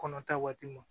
Kɔnɔ ta waati mun